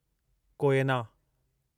Koyna